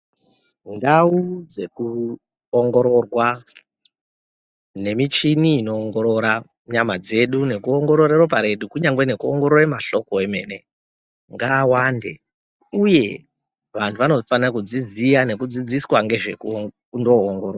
Ndau dzekuongororwa nemichini inoongorora nyama dzedu nekuongorora ropa redu kunyange nekuongorora mahloko emene ngaawande uye vantu vanofana kudziziya nekutodzidziswa nezveku ndoongororwa.